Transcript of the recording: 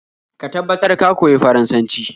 Ka tabbatar ka koyi Faransanci